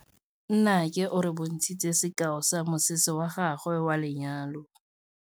Nnake o re bontshitse sekaô sa mosese wa gagwe wa lenyalo.